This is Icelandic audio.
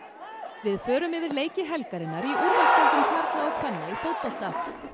við förum yfir leiki helgarinnar í úrvalsdeildum karla og kvenna í fótbolta